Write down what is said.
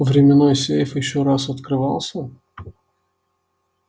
временной сейф ещё раз открывался